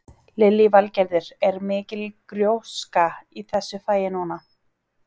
Lillý Valgerður: Er mikil gróska í þessu fagi núna?